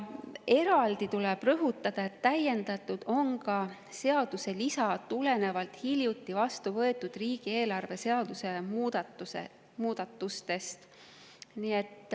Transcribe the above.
Eraldi tuleb rõhutada, et täiendatud on ka seaduse lisa tulenevalt hiljuti vastu võetud riigieelarve seaduse muudatustest.